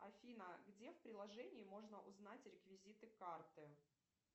афина где в приложении можно узнать реквизиты карты